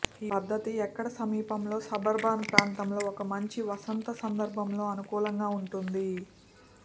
ఈ పద్ధతి ఎక్కడ సమీపంలో సబర్బన్ ప్రాంతంలో ఒక మంచి వసంత సందర్భంలో అనుకూలంగా ఉంటుంది